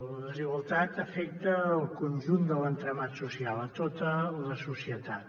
la desigualtat afecta el conjunt de l’entramat social a tota la societat